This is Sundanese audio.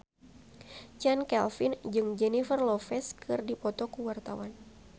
Chand Kelvin jeung Jennifer Lopez keur dipoto ku wartawan